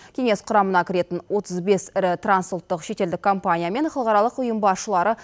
кеңес құрамына кіретін отыз бес ірі трансұлттық шетелдік компания мен халықаралық ұйым басшылары